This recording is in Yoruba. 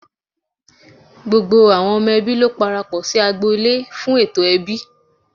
Gbogbo ọmọ ẹbí ló parapọ̀ sí agbo- ilé fún ètò ẹbí.